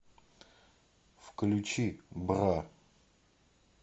включи бра